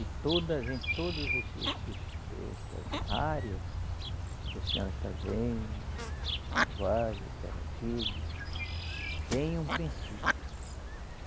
E todas, em todos esse esses, essas áreas que a senhora está vendo, o vale, a terra firme, tem um princípio.